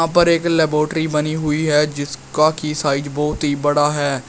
ऊपर एक लैबोरेट्री बनी हुई है जिसका की साइज बहोत ही बड़ा है।